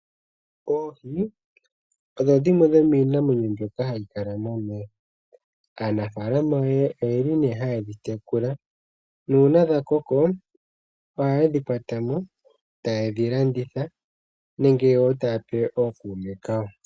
Oohi odho dhimwe dhomiinamwenyo mbyoka hayi kala momeya. Aanafalama oyeli hayedhi tekula nuuna dha koko ohayedhi kwatamo etaye dhi landitha nenge wo taya pe ookume kawo.